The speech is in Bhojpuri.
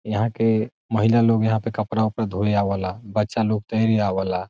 यहां के महिला लोग यहाँ पे कपड़ा - उपड़ा धोया आवला बच्चा लोग तैरे आवला।